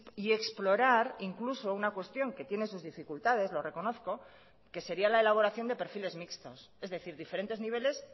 y explorar incluso una cuestión que tiene sus dificultades lo reconozco que sería la elaboración de perfiles mixtos es decir diferentes niveles